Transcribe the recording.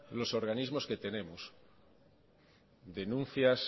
los organismos que tenemos denuncias